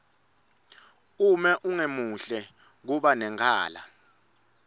uma ungemuhle kuba nenkala